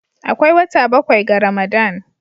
Akwai wata bakwai ga Ramadan